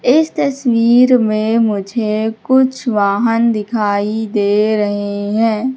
इस तस्वीर में मुझे कुछ वाहन दिखाई दे रहे हैं।